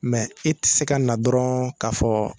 e ti se ka na dɔrɔɔn ka fɔɔ